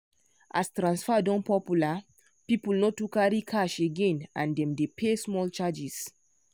as transfer don popular people no too carry cash again and dem dey pay small charges.